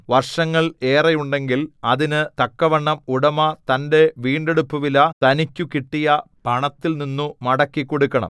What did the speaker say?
വർഷങ്ങൾ ഏറെയുണ്ടെങ്കിൽ അതിന് തക്കവണ്ണം ഉടമ തന്റെ വീണ്ടെടുപ്പുവില തനിക്കു കിട്ടിയ പണത്തിൽനിന്നു മടക്കിക്കൊടുക്കണം